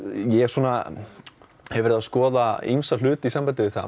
ég hef verið að skoða ýmsa hluti í sambandi við það